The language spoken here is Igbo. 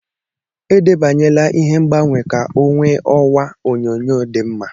Edebanyela ihe ngbanwe ka ọ nwee ọwa onyonyo dị mma.